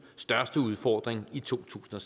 største udfordring i to tusind og